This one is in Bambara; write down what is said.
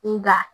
Nga